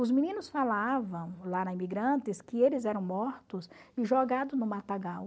Os meninos falavam lá na Imigrantes que eles eram mortos e jogados no matagal.